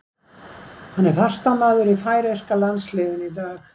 Hann er fastamaður í færeyska landsliðinu í dag.